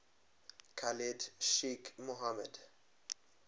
khalid sheikh mohammed